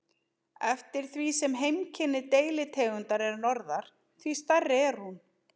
Eftir því sem heimkynni deilitegundar er norðar, því stærri er hún.